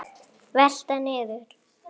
Velta niður.